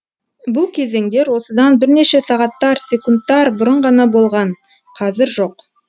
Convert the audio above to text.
бұл кезеңдер осыдан бірнеше сағаттар секундтар бұрын ғана болған қазір жоқ